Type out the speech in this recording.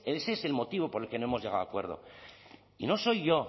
ese es el motivo por el que no hemos llegado a acuerdo y no soy yo